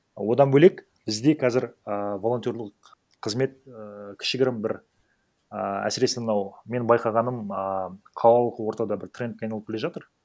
одан бөлек бізде қазір ааа волонтерлық қызмет ііі кішігірім бір ііі әсіресе мынау менің байқағаным ааа халық ортада бір трендке айналып келе жатыр